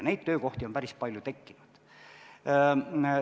Neid töökohti on päris palju tekkinud.